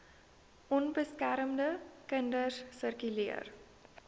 onbeskermde kinders sirkuleer